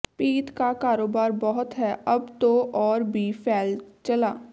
ਪੀਤ ਕਾ ਕਾਰੋਬਾਰ ਬਹੁਤ ਹੈ ਅਬ ਤੋ ਔਰ ਭੀ ਫੈਲ ਚਲਾ